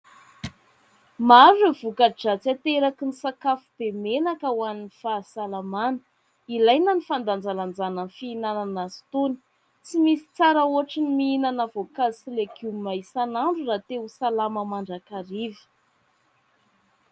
Maro ireo voka-dratsy ateraky ny sakafo be menaka ho an'ny fahasalamana. Ilaina ny fandanjalanjana ny fihinanana azy itony. Tsy misy tsara ohatry ny mihinana voankazo sy legioma isan'andro raha te ho salama mandrakariva.